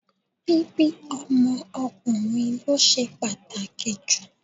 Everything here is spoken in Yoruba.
Bíbí ọmọ ọkùnrin ló ṣe pàtàkì jù.